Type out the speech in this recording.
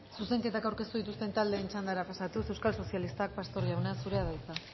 zuzenketak aurkeztu dituzten taldeen txandara pasatuz euskal sozialistak pastor jauna zurea da hitza